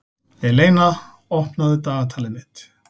Eleina, opnaðu dagatalið mitt.